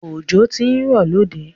Ọjọ̀ tí n rọ̀ lóde